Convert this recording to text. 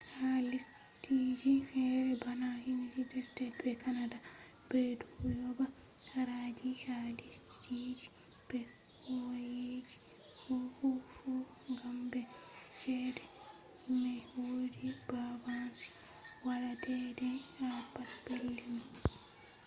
ha lesdije fere bana united states be canada be do yoba haraji ha lesdiji be kwauyeji fu gam mai chede mai wodi banbanci wada deadea ha pat pellei mai